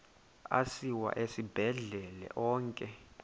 asiwa esibhedlele onke